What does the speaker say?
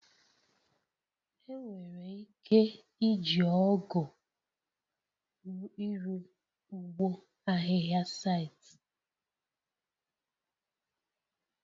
Enwere ike iji ọgụ iru ụgbọ ahịhịa site.